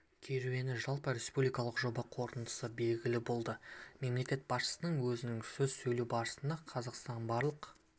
керуені жалпы республикалық жоба қорытындысы белгілі болды мемлекет басшысы өзінің сөз сөйлеу барысында қазақстан барлық